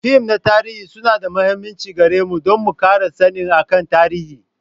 Fim na tarihi su na da muhimmanci gare mu don mu kara sannin akan tarihi.